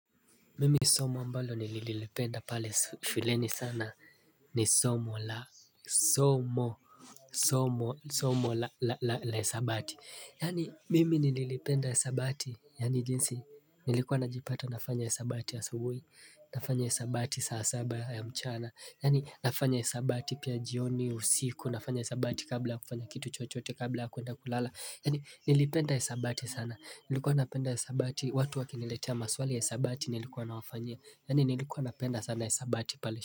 Mimi somo ambalo nililipenda pale shuleni sana ni somo la la hisabati Yani mimi nilipenda hisabati Yani jinsi nilikuwa najipata nafanya hisabati asubui nafanya hisabati saa saba ya mchana Yani nafanya hisabati pia jioni usiku nafanya hisabati kabla kufanya kitu chochote kabla kuenda kulala Yani nilipenda hisabati sana Nilikuwa napenda hisabati watu wakiniletea maswali ya hisabati nilikuwa na wafanyia Yani nilikuwa na penda sana hisabati pale.